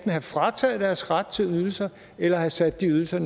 have frataget deres ret til ydelser eller have sat de ydelser